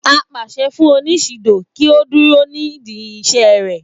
apàṣẹ fún oníṣidò kí ó kúrò nídìí iṣẹ rẹ